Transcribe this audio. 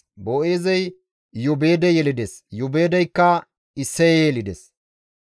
Boo7eezey Iyoobeede yelides; Iyoobeedeykka Isseye yelides.